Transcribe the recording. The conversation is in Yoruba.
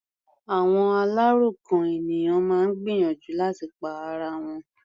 Àwọn aláròkàn ènìyàn máa ń gbìyànjú láti pa ara wọn.